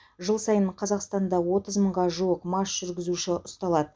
жыл сайын қазақстанда отыз мыңға жуық мас жүргізуші ұсталады